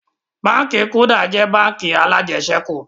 Báńkì "Kuda" jẹ́ báńkì alajẹsẹ́kù